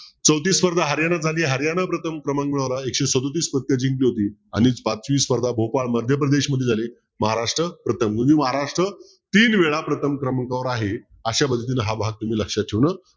चौथी स्पर्धा हरियाणात झाली हरियाणा प्रथम क्रमांकावर एकशे सदोतीस पदक जिंकली होती आणि पाचवी स्पर्धा भोपाळ मध्यप्रदेशमध्ये झाली महाराष्ट्र प्रथम महाराष्ट्र तीन वेळा प्रथम क्रमांकावर आहे अशा पद्धतीने हा भाग तुम्ही लक्षात ठेवणं